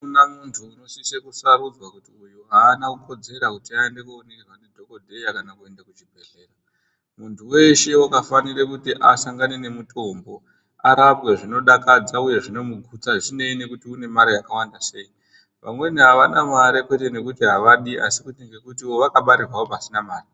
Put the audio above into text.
Akuna munthu anosise kusarudzwa kuti uyu aana kukodzera kuti aende kooningirwa ndidhokodheya kana kuenda kuchibhedhleya ,munthu weshe wakafanire kuti asangane nemutombo, arapwe zvinodakadza uye zvinomugutsa uye zvisineyi nekuti une mare yakawanda sei, vamweni avana mare kwete ngekuti avadi, asi kuti ngekutiwo vakabarirwawo pasina mare.